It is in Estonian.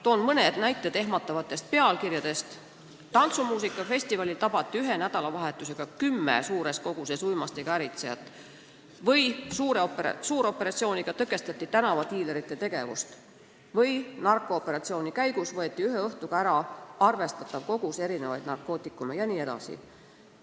Toon mõne näite ehmatavate pealkirjade kohta: "Tantsumuusikafestivalil tabati ühe nädalavahetusega kümme suures koguses uimastiga äritsejat", "Suuroperatsiooniga tõkestati tänavadiilerite tegevust", "Narkooperatsiooni käigus võeti ühe õhtuga ära arvestatav kogus erinevaid narkootikume" jne.